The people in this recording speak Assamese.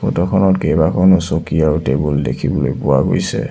ফটো খনত কেইবাখনো চকী আৰু টেবুল দেখিবলৈ পোৱা গৈছে।